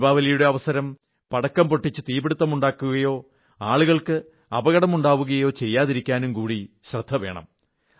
ദീപാവലിയുടെ അവസരത്തിൽ പടക്കം പൊട്ടിച്ച് തീപിടിത്തമുണ്ടാക്കുകയോ ആളുകൾക്ക് അപകടമുണ്ടാവുകയോ ചെയ്യാതിരിക്കാനും കൂടി ശ്രദ്ധവയ്ക്കണം